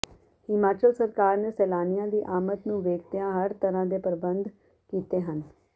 ਹਿਮਾਚਲ ਸਰਕਾਰ ਨੇ ਸੈਲਾਨੀਆ ਦੀ ਆਮਦ ਨੂੰ ਵੇਖਦਿਆਂ ਹਰ ਤਰ੍ਹਾਂ ਦੇ ਪ੍ਰਬੰਧ ਕੀਤੇ ਹਨ